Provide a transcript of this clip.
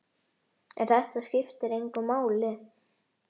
En þetta skiptir engu máli.